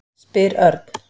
spyr Örn.